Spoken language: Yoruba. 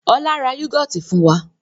Ọlá ra yúgọ́ọ́tì fún wa.